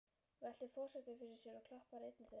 veltir forsetinn fyrir sér og klappar einni þeirra.